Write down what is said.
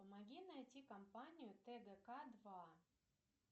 помоги найти компанию тгк два